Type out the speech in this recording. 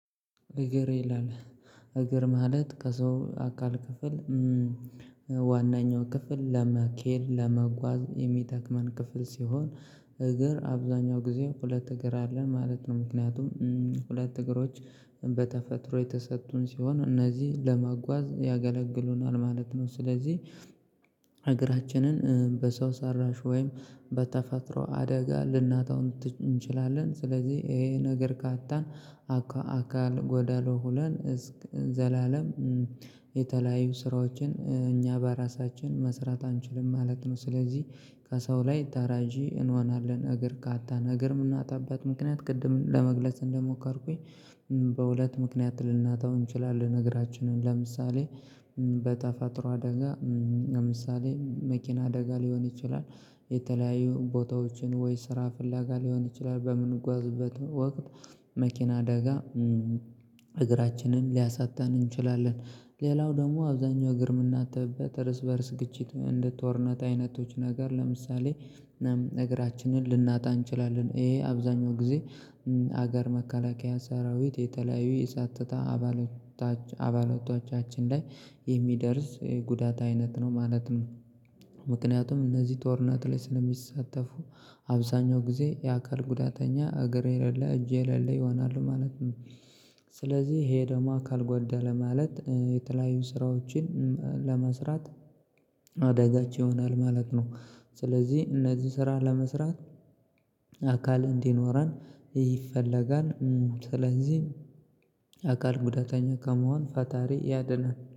እግር ይላል እግር ማለት ከሰው አካል ክፍል ዋናኛው ክፍል ለመሄድ ለመጓዝ የሚጠቅመን ክፍል ሲሆን። እግር አብዛኛው ጊዜ ሁለት እግር አለን ማለት ነው ምክንያቱም ሁለት እግሮች በተፈጥሮ የተሰጡን ሲሆን እነዚህ ለመጓዝ ያገለግሉናል ማለት ነው። ስለዚህ እግራችንን በሰው ሰራሽ ወይም በተፈጥሮ አደጋ ልናጣው እንችላለን። ስለዚህ ይሄ እግር ካጣን አካለ ጎደሎ ሆነን ዘላለም የተለያዩ ስራዎችን እኛ በራሳችን መስራት አንችልም ማለት ነው። ስለዚህ ከሰው ላይ ተረጂ እንሆናለን እግር ካጣን እግር የምናጣበት ምክንያት ቅድም ለመግለጽ እንደሞከርኩኝ በሁለት ምክንያት ልናጣው እንችላለን። እግራችንን ለምሳሌ በተፈጥሮ አደጋ ለምሳሌ መኪና አደጋ ሊሆን ይችላል። የተለያዩ ቦታዎችን ወይ ስራ ፍለጋ ሊሆን ይችላል በምንጓዝበት ወቅት መኪና አደጋ እግራችንን ሊያሳጣን እንችላለን። ሌላው ደግሞ አብዛኛው እግር የምናጣበት እርስ በእርስ ግጭት እንደ ጦርነት አይነቶች ነገር ለምሳሌ እግራችንን ልናጣ እንችላለን። ይሄ አብዛኛው ጊዜ ሀገር መከላከያ ሰራዊት የተለያዩ የጸጥታ አባላቶች አባላቶቻችን ላይ የሚደርስ ጉዳት አይነት ነው ማለት ነው። ምክንያቱም እነዚህ ጦርነት ላይ ስለሚሳተፉ አብዛኛው ጊዜ የአካል ጉዳተኛ እግር የሌለ እጄ የሌለ ይሆናሉ ማለት ነው። ስለዚህ ይሄ ደግሞ አካልጓደለ ማለት የተለያዩ ስራዎችን ለመስራት አደጋች ይሆናል ማለት ነው። ስለዚህ እነዚህ ስራ ለመስራት አካል እንዲኖረን ይፈለጋል። ስለዚህ አካል ጉዳተኛ ከመሆን ፈጣሪ ያድነን